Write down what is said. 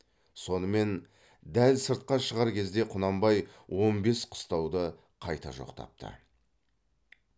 сонымен дәл сыртқа шығар кезде құнанбай он бес қыстауды қайта жоқтапты